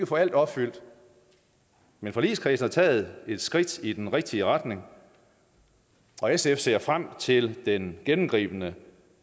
få alt opfyldt men forligskredsen har taget et skridt i den rigtige retning og sf ser frem til den gennemgribende